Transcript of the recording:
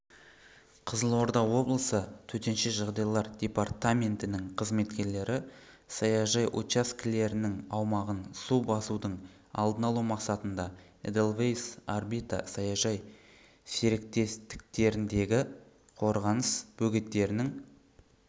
қызылорда облысы төтенше жағдайлар департаментінің қызметкерлері саяжай учаскелерінің аумағын су басудың алдын алу мақсатында эдельвейс орбита саяжай серіктестіктеріндегі қорғаныс бөгеттерінің